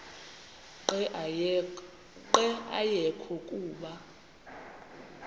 nqe ayekho kuba